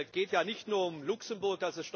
Es geht ja nicht nur um Luxemburg.